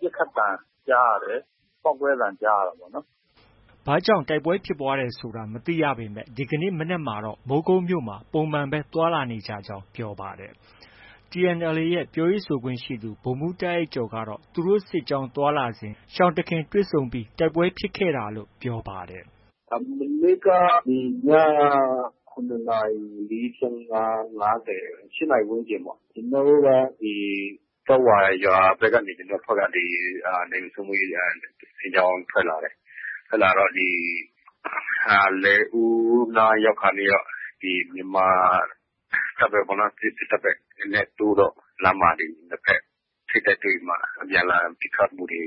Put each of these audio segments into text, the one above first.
ပစ်ခတ်သံကြားရတယ်။ ပေါက်ကွဲသံကြားရတာပေါ့နော်။” ဘာကြောင့် တိုက်ပွဲဖြစ်ပွားခဲ့တယ်ဆိုတာ မသိရပေမဲ့ ဒီကနေ့မနက်မှာတော့ မိုးကုတ်မြို့မှာ ပုံမှန်ပဲ သွားလာနေကြကြောင်း ပြောပါတယ်။ TNLA ရဲ့ ပြောရေးဆိုခွင့်ရှိသူ ဗိုလ်မှူးတာ့အိုက်ကျော်ကတော့ သူတို့စစ်ကြောင်းသွားလာစဉ် ရှောင်တခင် ထိတွေ့တိုက်ပွဲဖြစ်တာဖြစ်ခဲ့တာလို့ ပြောပါတယ်။ “မနေ့က ည ၇ နာရီ ၄၅၊ ၅၀၊ ၈နာရီဝန်းကျင်ပေါ့။ ကျနော်တို့က ဒီ ကျောက်ဝါရွာဘက်ကနေ ကျနော်တို့အဖွဲ့က နယ်မြေစိုးမိုးရေး စစ်ကြောင်း ထွက်လာတယ်။ ထွက်လာတော့ ဒီ လယ်ဦးနားရောက်ခါနီးတော့ မြန်မာတပ်ဘက်နဲ့ တိုးတော့ လမ်းမှာ ဒီနှစ်ဘက် ထိပ်တိုက်တွေ့ပြီးမှ အပြန်အလှန်ပစ်ခတ်မှုတွေ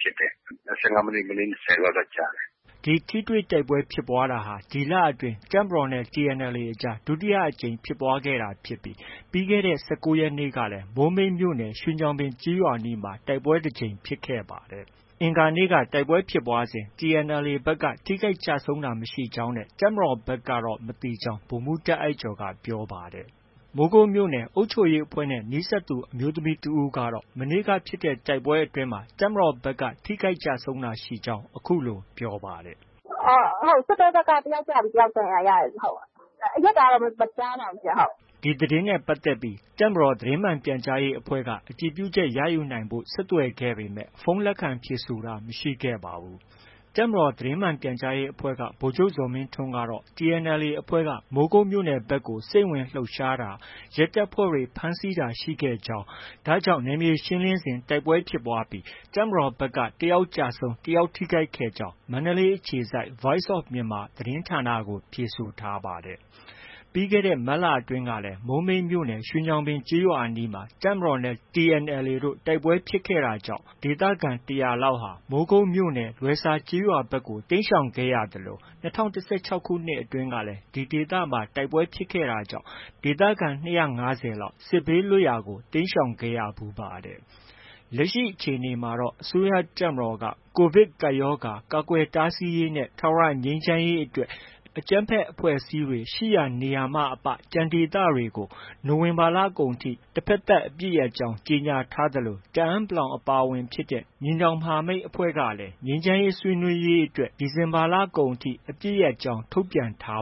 ဖြစ်တယ်။ ၁၅ မိနစ်၊ မိနစ် ၂၀ လောက်တော့ ကြာတယ်။” ဒီထိတွေ့တိုက်ပွဲဖြစ်ပွားတာဟာ ဒီလအတွင်း တပ်မတော်နဲ့ TNLA အကြား ဒုတိယအကြိမ်ဖြစ်ပွားတာဖြစ်ပြီး ပြီးခဲ့တဲ့ ၁၉ရက်နေ့ကလည်း မိုးမိတ်မြို့နယ် ရွှေညောင်ပင် ကျေးရွာအနီးမှာ တိုက်ပွဲဖြစ်ပွားခဲ့ပါသေးတယ်။ တိုက်ပွဲဖြစ်ပွားစဉ် TNLA ဘက်က ထိခိုက်ကျဆုံးတာ မရှိကြောင်းနဲ့ တပ်မတော်ဘက်ကတော့ မသိကြောင်း ဗိုလ်မှူးတာ့အိုက်ကျော်က ပြောပါတယ်။ မိုးကုတ်မြို့နယ် အုပ်ချုပ်ရေးအဖွဲ့နဲ့ နီးစပ်သူအမျိုးသမီးတစ်ဦးကတော့ မနေ့ကဖြစ်တဲ့တိုက်ပွဲအတွင်းမှာ တပ်မတော်ဘက်က ထိခိုက်ကျဆုံးတာ ရှိကြောင်း အခုလို ပြောပါတယ်။ “စစ်တပ်ဘက်က တစ်ယောက်ကျပြီး တစ်ယောက်ဒဏ်ရာ ရတယ်။ အရပ်သားတော့ မကြားပါဘူး။” ဒီသတင်းနဲ့ ပတ်သက်ပြီး တပ်မတော်သတင်းမှန်ပြန်ကြားရေးအဖွဲ့က အတည်ပြုချက်ရယူနိုင်ဖို့ ဆက်သွယ်ခဲ့ပေမဲ့ ဖုန်း လက်ခံဖြေဆိုတာ မရှိခဲ့ပါဘူး။ တပ်မတော်သတင်းမှန်ပြန်ကြားရေးအဖွဲ့က ဗိုလ်ချုပ်ဇော်မင်းထွန်းကတော့ TNLA အဖွဲ့ကမိုးကုတ်မြို့နယ်ဘက်ကို စိမ့်ဝင်လှုပ်ရှားတာ၊ ရဲတပ်ဖွဲ့ဝင်တွေ ဖမ်းဆီးတာရှိခဲ့ကြောင်း၊ ဒ့ါကြောင့် နယ်မြေရှင်းလင်းစဉ်မှာ တိုက်ပွဲဖြစ်ပွားပြီး တပ်မတော်ဘက်က တစ်ယောက်ကျဆုံး၊ တစ်ယောက် ထိခိုက်ကြောင်းကို မန္တလေးအခြေစိုက် Voice of Myanmar သတင်းဌာနကို ဖြေဆိုထားပါတယ်။ ပြီးခဲ့တဲ့ မတ်လအတွင်းကလည်း မိုးမိတ်မြို့နယ် ရွှေညောင်ပင်ကျေးရွာအနီးမှာ တပ်မတော်နဲ့ TNLA တို့ တိုက်ပွဲဖြစ်တာကြောင့် ဒေသခံ ၁၀၀လောက် မိုးကုတ်မြို့နယ် လွယ်ဆာကျေးရွာဘက်ကို တိမ်းရှောင်ခဲ့ဖူးသလို ၂၀၁၆ ခုနှစ်အတွင်းကလည်း ဒီဒေသမှာ တိုက်ပွဲဖြစ်တာကြောင့် ဒေသခံ ၂၅၀ လောက် စစ်ဘေးလွတ်ရာကို တိမ်းရှောင်ခဲ့ရဖူးပါတယ်။ လက်ရှိအခြေအနေမှာတော့ အစိုးရတပ်မတော် COVID ရောဂါ ကာကွယ်တားဆီးရေးနဲ့ ထာဝရ ငြိမ်းချမ်းရေးအတွက် အကြမ်းဖက် အဖွဲ့အစည်းတွေရှိရာနေရာမှ အပ ကျန်ဒေသတွေကို နိုဝင်ဘာလကုန်အထိ တဘက်သတ်အပစ်ရပ်ကြောင်း ကြေညာထားသလို တအန်း အဖွဲ့ပါဝင်တဲ့ ညီနောင်မဟာမိတ်အဖွဲ့တွေကလည်း ငြိမ်းချမ်းရေးဆွေးနွေးရေးအတွက် ဒီဇင်ဘာလကုန်ထိ အပစ်ရပ်ကြောင်းကို ထုတ်ပြန်ထာ